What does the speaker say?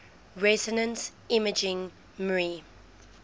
resonance imaging mri